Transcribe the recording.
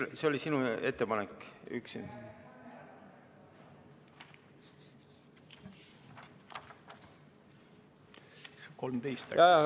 Kas see oli sinu ettepanek?